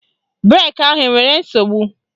Breki ahụ enwere nsogbu?